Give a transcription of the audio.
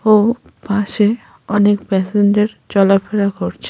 ও পাশে অনেক প্যাসেঞ্জার চলাফেরা করছে--